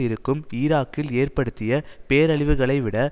இருக்கும் ஈராக்கில் ஏற்படுத்திய பேரழிவுகளைவிட